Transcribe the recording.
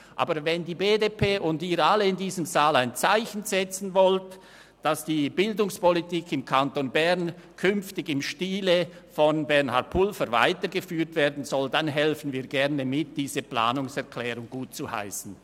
Wenn aber die BDP-Fraktion und Sie alle in diesem Saal ein Zeichen setzen wollen, dass die Bildungspolitik im Kanton Bern künftig im Stil von Bernhard Pulver weitergeführt werden soll, dann helfen wir gerne mit, diese Planungserklärung gutzuheissen.